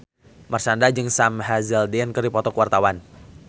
Marshanda jeung Sam Hazeldine keur dipoto ku wartawan